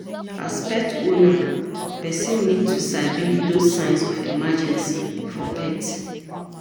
As pet owner person need to sabi those signs of emergency for pet